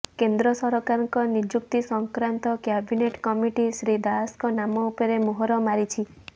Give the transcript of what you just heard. କେନ୍ଦ୍ର ସରକାରଙ୍କ ନିଯୁକ୍ତି ସଂକ୍ରାନ୍ତ କ୍ୟାବିନେଟ କମିଟି ଶ୍ରୀ ଦାଶଙ୍କ ନାମ ଉପରେ ମୋହର ମାରିଛି